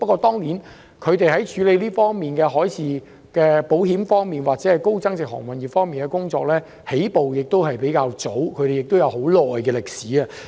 當然，英國在處理海事保險方面或高增值航運業方面的工作，起步比較早，已有很長遠的歷史。